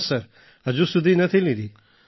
ના સર હજુ સુધી નથી લીધી